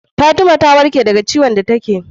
Fatima ta warke da ka ciwon da take